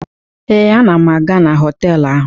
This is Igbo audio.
Ee, ana m aga na họtelụ ahụ.